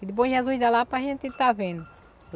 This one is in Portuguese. E de Bom Jesus da Lapa a gente está vendo.